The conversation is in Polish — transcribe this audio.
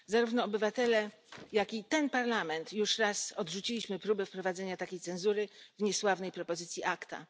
Zarówno obywatele, jak i ten Parlament już raz odrzucili próbę wprowadzenia takiej cenzury w niesławnej propozycji ACTA.